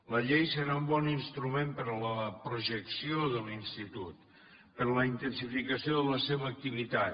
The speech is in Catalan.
la llei serà un bon instrument per a la projecció de l’institut per a la intensificació de la seva activitat